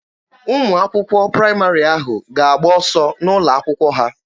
Ụmụ akwụkwọ praịmarị ahụ ga-agba ọsọ n'ụlọ akwụkwọ ha.